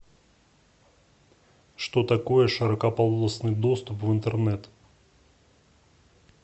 что такое широкополосный доступ в интернет